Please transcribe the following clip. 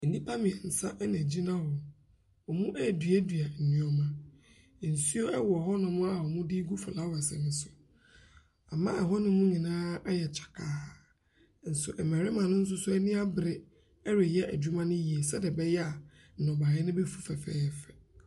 Nnipa mmiɛnsa na ɛgyina hɔ, wɔreduadua nneɛma, nsuo wɔ hɔnom a wɔde regu flowers no so, ama hɔnom nyinaa ayɛ kyakaa, nso mmarima no nso ani abere ɛreyɛ adwuma no yie sɛdeɛ ɛbɛyɛ a nnɔbaeɛ no bɛfi fɛfɛɛfɛ.